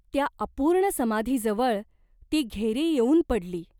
त्या अपूर्ण समाधीजवळ ती घेरी येऊन पडली !